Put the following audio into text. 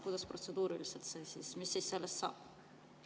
Kuidas see protseduuriliselt käib, mis sellest saab?